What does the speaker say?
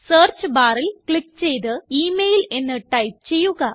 search ബാറിൽ click ചെയ്ത് email എന്ന് ടൈപ്പ് ചെയ്യുക